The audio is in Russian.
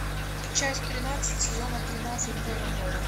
часть тринадцать сезона тринадцать терра нова